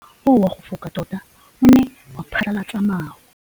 Mowa o wa go foka tota o ne wa phatlalatsa maru.